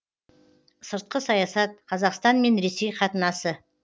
сыртқы саясат қазақстан мен ресей қатынасы